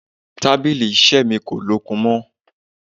Tábìlì iṣẹ́ mi kò lókun mọ́.